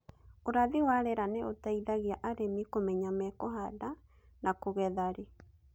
ũrathi wa rĩera nĩ ũteithangĩa arĩmi kũmenya mekũhanda na kũgetha rĩ